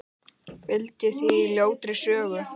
Felldi þig á ljótri sögu.